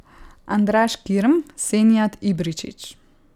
Andraž Kirm, Senijad Ibričić ...